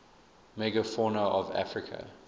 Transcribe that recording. megafauna of africa